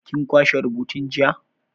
Kin kwashe rubutun jiya?